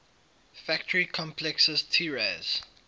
factory complexes tiraz